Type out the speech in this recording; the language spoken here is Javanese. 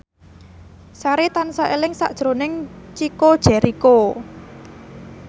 Sari tansah eling sakjroning Chico Jericho